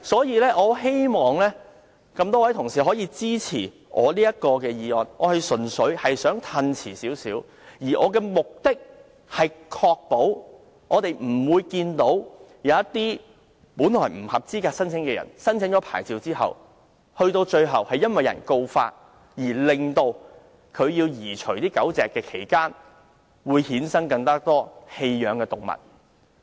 我希望各位同事可以支持我的議案，我只想將生效日期稍稍延遲，目的是確保不會出現一個大家不想看到的情況，就是有些本來不合資格的申請人，在獲發牌後由於遭到告發而要移除狗隻，從而衍生出更多棄養動物。